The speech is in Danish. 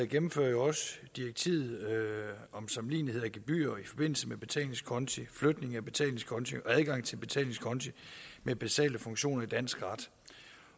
gennemfører direktivet om sammenlignelighed af gebyrer i forbindelse med betalingskonti flytning af betalingskonti og adgang til betalingskonti med basale funktioner i dansk ret